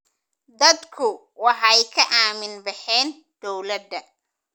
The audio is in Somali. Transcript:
Dadku waxay ka aamin baxeen dawladda.